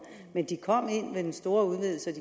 men de kom ind ved den store udvidelse og